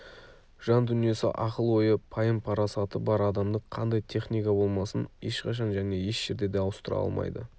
жан дүниесі ақыл-ойы пайым-парасаты бар адамды қандай техника болмасын ешқашан және еш жерде де ауыстыра алмайды